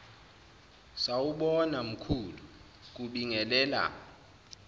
sawubona mkhulu kubingelela